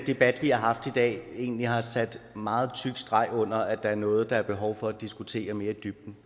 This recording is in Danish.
debat vi har haft i dag egentlig har sat meget tyk streg under at der er noget der er behov for at diskutere mere i dybden